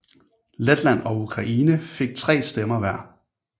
Letland og Ukraine fik tre stemmer hver